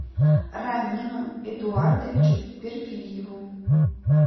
рамину эдуардовичу перфильеву